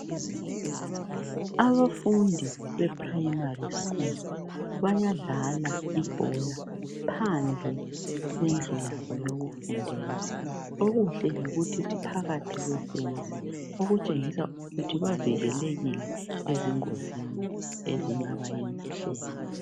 Abafundi be primary school bayadlala ibhola Phandle kwendlu yabo yokufundela okuhle yikuthi baphakathi kwefence okuntshengisa ukuthi bavikelekile ezingozini ezingabayehlela .